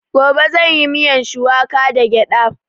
Gobe zan yi miyan shuwaka da gyada